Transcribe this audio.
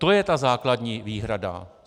To je ta základní výhrada.